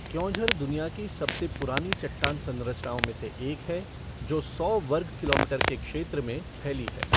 क्योंझर दुनिया की सबसे पुरानी चट्टान संरचनाओं में से एक है, जो सौ वर्ग किलोमीटर के क्षेत्र में फैली है।